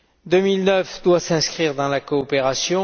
2009 doit s'inscrire dans la coopération.